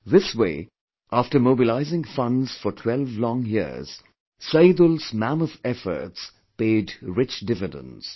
This way, after mobilizing funds for twelve long years, Saidul's mammoth efforts paid rich dividends